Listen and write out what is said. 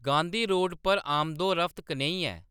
Gandhi road पर आमदोरफ्त कनेही ऐ